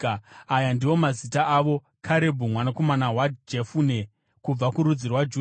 “Aya ndiwo mazita avo: “Karebhu mwanakomana waJefune, kubva kurudzi rwaJudha;